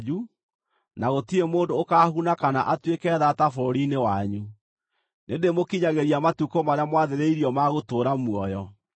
na gũtirĩ mũndũ ũkaahuna kana atuĩke thaata bũrũri-inĩ wanyu. Nĩndĩĩmũkinyagĩria matukũ marĩa mwathĩrĩirio ma gũtũũra muoyo.